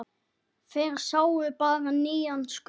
Þeir sáu bara nýjan skugga.